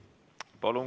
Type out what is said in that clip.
Palun!